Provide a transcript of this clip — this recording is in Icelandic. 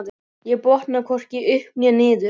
Ég botnaði hvorki upp né niður.